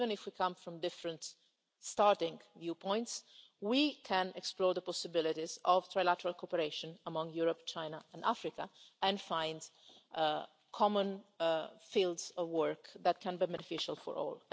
Even if we come from different starting points we can explore the possibilities for trilateral cooperation among Europe, China and Africa and find common fields of work that are beneficial for all.